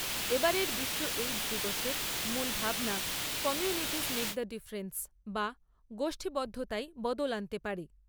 এবারের বিশ্ব এইডস দিবসের মূল ভাবনা কমুনিটিস মেক দ্য ডিফরেন্স বা গোষ্ঠীবদ্ধতাই বদল আনতে পারে।